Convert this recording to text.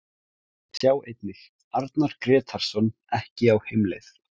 Sjá einnig: Arnar Grétarsson ekki á heimleið